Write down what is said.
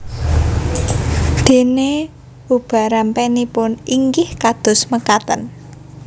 Dènè ubarampènipun inggih kados mekaten